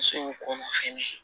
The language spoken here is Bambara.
Musow ko ma fɛnɛ